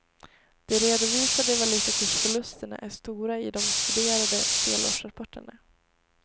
De redovisade valutakursförlusterna är stora i de studerade delårsrapporterna.